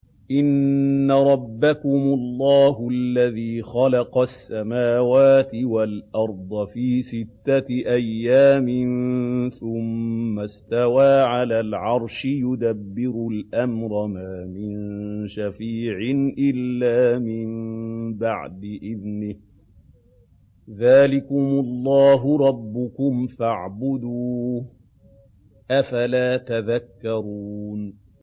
إِنَّ رَبَّكُمُ اللَّهُ الَّذِي خَلَقَ السَّمَاوَاتِ وَالْأَرْضَ فِي سِتَّةِ أَيَّامٍ ثُمَّ اسْتَوَىٰ عَلَى الْعَرْشِ ۖ يُدَبِّرُ الْأَمْرَ ۖ مَا مِن شَفِيعٍ إِلَّا مِن بَعْدِ إِذْنِهِ ۚ ذَٰلِكُمُ اللَّهُ رَبُّكُمْ فَاعْبُدُوهُ ۚ أَفَلَا تَذَكَّرُونَ